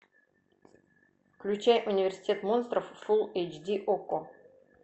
включай университет монстров фул эйч ди окко